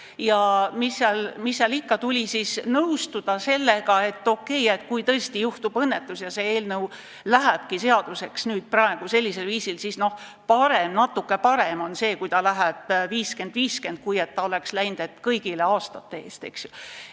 Ja mis seal ikka, tuli nõustuda sellega, et kui tõesti juhtub õnnetus ja see eelnõu saabki seaduseks, siis tõesti on natuke parem see, kui läheb läbi suhe 50 : 50, mitte too kõigil ainult aastate arvu arvestav variant.